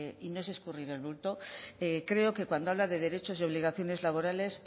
y no es escurrir el bulto creo que cuando habla de derechos y obligaciones laborales